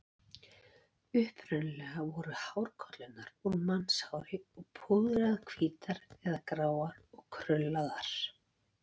Upprunalega voru hárkollurnar úr mannshári og púðraðar hvítar eða gráar og krullaðar.